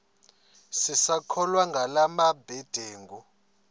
sisakholwa ngala mabedengu